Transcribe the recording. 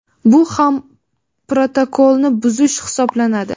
bu ham protokolni buzish hisoblanadi.